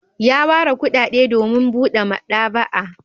Ya ware kuɗaɗe domin buɗe maɗaba'a.